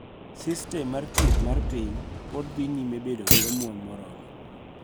Sistem mar thieth mar piny pod dhi nyime bedo gi omwom moromo.